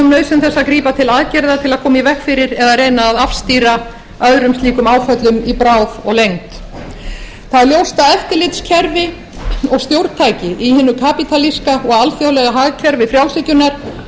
þess að grípa til aðgerða til að koma í veg fyrir eða reyna að afstýra öðrum slíkum áföllum í bráð og lengd það er ljóst að eftirlitskerfi og stjórntæki í hinu kapítalíska og alþjóðlega hagkerfi frjálshyggjunnar ýmist